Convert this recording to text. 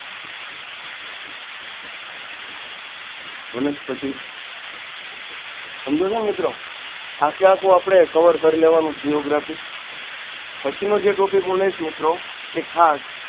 વનસ્પત સમજો છો ને મિત્રો આખેઆખુ આપડે cover કર લેવાનું giography પછીનો જે હું topic લઇશ મિત્રો એ ખાસ.